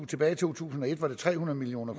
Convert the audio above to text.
tilbage i to tusind og et var det tre hundrede million